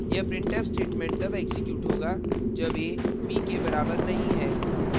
यह printf statement तब execute होगा जब a b के बराबर नहीं है